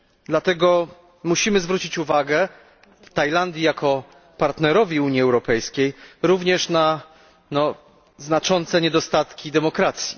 Dlatego musimy zwrócić uwagę Tajlandii jako partnerowi Unii Europejskiej również na znaczące niedostatki demokracji.